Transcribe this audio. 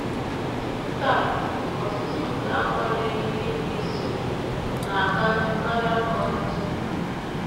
Taa, ọ̀tụ̀tụ̀ nke akwanyeghịrị ịbụisi ùgwù na - aka njọ karịa ka ọ dịtụworo.